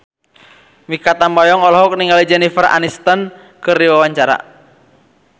Mikha Tambayong olohok ningali Jennifer Aniston keur diwawancara